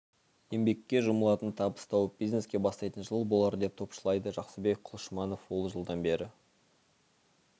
еңбекке жұмылатын табыс тауып бизнеске бастайтын жыл болар деп топшылайды жақсыбек құлшыманов ол жылдан бері